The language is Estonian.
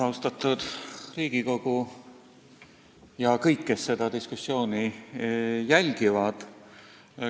Austatud Riigikogu ja kõik teised, kes te seda diskussiooni jälgite!